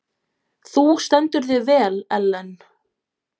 Þú stendur þig vel, Ellen!